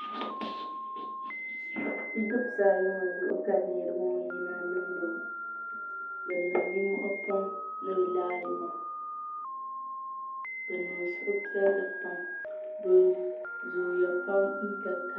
bidibsi ayi ŋɔ zuɣu ka niraba ŋɔ yina niŋdi ŋɔ bi niŋ nimmohi pam ni bi raali maa bi niŋ suhupiɛlli pam bi zooya pam